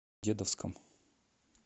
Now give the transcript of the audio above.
дедовском